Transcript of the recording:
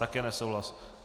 Také nesouhlas.